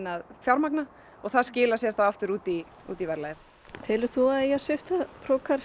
að fjármagna og það skilar sér þá aftur út í út í verðlagið telur þú að það eigi að svipta